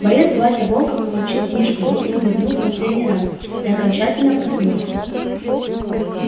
боец вася волков получив кружку в руки зевнул в последний раз и окончательно проснулся